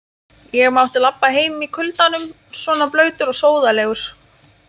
Ég mátti labba heim í kuldanum svona blautur og sóðalegur.